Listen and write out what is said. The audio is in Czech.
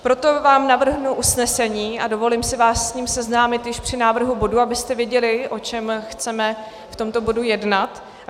Proto vám navrhnu usnesení a dovolím si vás s ním seznámit již při návrhu bodu, abyste věděli, o čem chceme v tomto bodu jednat.